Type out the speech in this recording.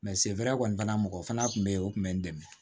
Mɛ sefɛrɛ kɔni mɔgɔ fana tun bɛ yen o tun bɛ n dɛmɛ